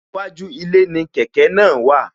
Iwájú ilé ni kẹ̀kẹ́ náà wà